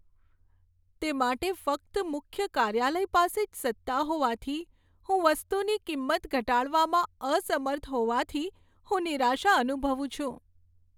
તે માટે ફક્ત મુખ્ય કાર્યાલય પાસે જ સત્તા હોવાથી હું વસ્તુની કિંમત ઘટાડવામાં અસમર્થ હોવાથી હું નિરાશા અનુભવું છું.